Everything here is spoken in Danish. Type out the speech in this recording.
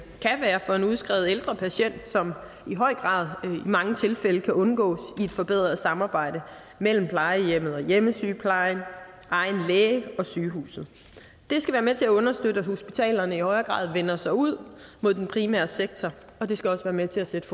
af en udskrevet ældre patient som i høj grad i mange tilfælde kan undgås i et forbedret samarbejde mellem plejehjemmet og hjemmesygeplejen egen læge og sygehuset det skal være med til at understøtte at hospitalerne i højere grad vender sig ud mod den primære sektor og det skal også være med til at sætte